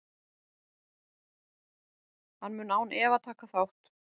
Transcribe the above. Hann mun án efa taka þátt.